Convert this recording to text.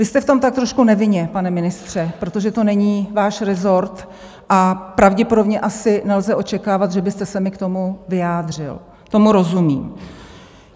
Vy jste v tom tak trošku nevinně, pane ministře, protože to není váš rezort a pravděpodobně asi nelze očekávat, že byste se mi k tomu vyjádřil, tomu rozumím.